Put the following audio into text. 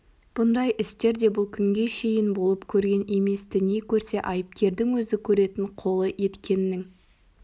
бұндай істер де бұл күнге шейін болып көрген еместі не көрсе айыпкердің өзі көретін қолы еткеннің